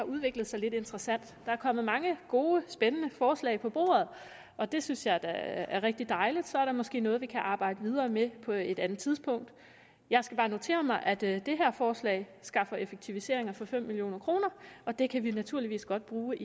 udviklet sig lidt interessant der er kommet mange gode spændende forslag på bordet og det synes jeg da er rigtig dejligt så er der måske noget vi kan arbejde videre med på et andet tidspunkt jeg skal bare notere mig at det her forslag skaffer effektiviseringer for fem million kr og det kan vi naturligvis godt bruge